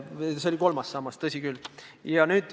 See oli kolmas sammas, tõsi küll.